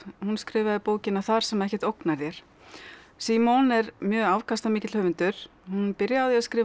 hún skrifaði bókina þar sem ekkert ógnar þér simone er mjög afkastamikill höfundur hún byrjaði á því að skrifa